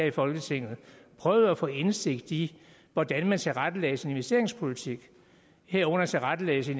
i folketinget prøvet at få indsigt i hvordan man tilrettelægger sin investeringspolitik herunder tilrettelæggelse